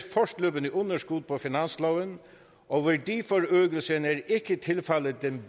fortløbende underskud på finansloven og værdiforøgelsen er ikke tilfaldet den